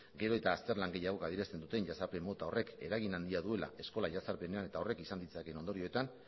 gero eta azterlan gehiagok adierazten duten jazarpen mota horrek eragin handia duela eskola jazarpenean eta horrek izan ditzakeen ondorioetan